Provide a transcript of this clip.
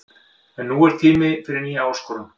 En nú er tími fyrir nýja áskorun.